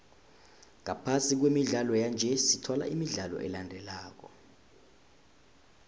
ngaphasi kwemidlalo yanje sithola imidlalo elandelako